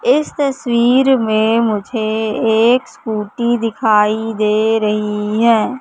इस तस्वीर में मुझे एक स्कूटी दिखाई दे रही है।